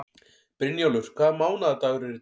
Brynjólfur, hvaða mánaðardagur er í dag?